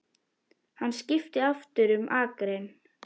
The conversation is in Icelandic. Hann skipti aftur um akrein.